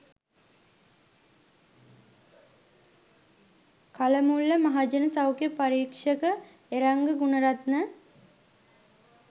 කලමුල්ල මහජන සෞඛ්‍ය පරීක්ෂක එරංග ගුණරත්න